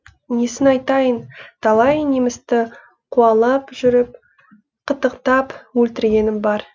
несін айтайын талай немісті қуалап жүріп қытықтап өлтіргенім бар